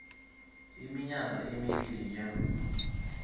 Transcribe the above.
iminyaka emibili ngemva